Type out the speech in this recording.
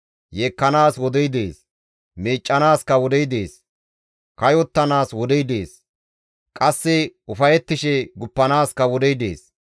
Yeekkanaas wodey dees; miiccanaaskka wodey dees. kayottanaas wodey dees; qasse ufayettishe guppanaaskka wodey dees.